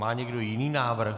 Má někdo jiný návrh?